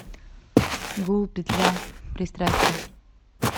гул петля пристрастия